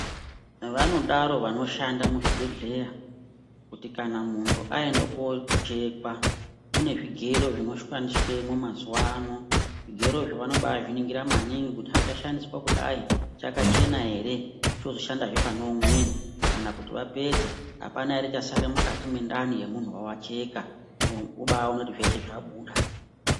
Vanodaro vanoshanda muzvibhedhlera kuti kana munhu aenda koochekwa mune zvigero zvinoshandiswemwo mazuwa ano. Zvigerozvo vanobaazviningira maningi kuti hechashandiswa kudayi chakachena ere chozoshandazve pane umweni. Kana kuti vapedza apana ere chasarira mukati mwendani yemuntu wavacheka vobaaona kuti zveshe zvabuda.